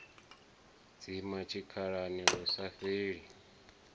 dzima tshikhalani lu sa fheli